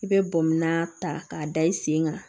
I bɛ bɔnmɔ ta k'a da i sen kan